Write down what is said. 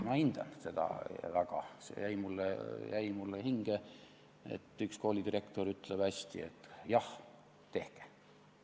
Ma hindan seda väga, see jäi mulle hinge, et üks koolidirektor ütleb, et hästi, jah tehke.